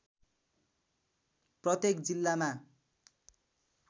प्रत्येक जिल्लामा